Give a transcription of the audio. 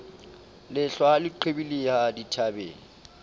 lehlwa ha le qhibidiha dithabeng